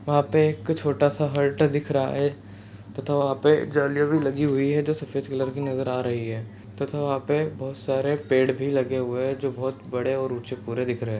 वहाँ पे कुछ छोटा सा हर्ट दिख रहा हैं तथा वहाँ पे जालियाँ भी लगी हुई हैं जो सफेद कलर की नजर आ रही हैं तथा वहाँ पर बहुत सारे पेड़ भी लगे हुए हैं जो बहुत बड़े व ऊंचे पूरे दिख रहे हैं।